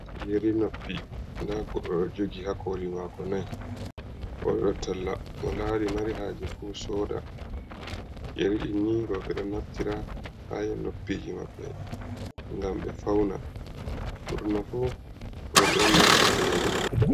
Yeri noppi nda goɗɗo ɗo jogi ha koli mako nai oɗo waɗa talla, mo lari mari haje fu soda, yeri di ni roɓɓe ɗo naftira ha ye noppiji maɓɓe ngam ɓe fauna, ɓurna fu roɓɓe on naftirta yeri.